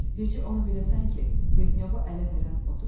Bircə onu biləsən ki, Plitnyovu ələ verən odur.